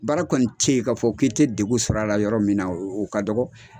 Baara kɔni tɛ yen k'a fɔ k'i tɛ degun sɔrɔ a la yɔrɔ min na o ka dɔgɔ.